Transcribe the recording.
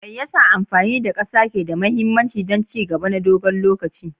Me yasa amfani da ƙasa ke da mahimmanci don ci gaba na dogon lokaci?